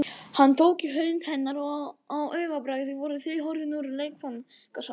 Hann tók í hönd hennar og á augabragði voru þau horfin úr leikfangasalnum.